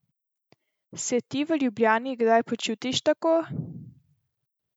Se ti v Ljubljani kdaj počutiš tako?